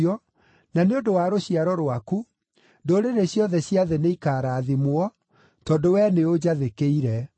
na nĩ ũndũ wa rũciaro rwaku, ndũrĩrĩ ciothe cia thĩ nĩikarathimwo, tondũ wee nĩũnjathĩkĩire.”